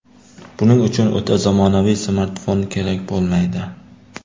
Buning uchun o‘ta zamonaviy smartfon kerak bo‘lmaydi.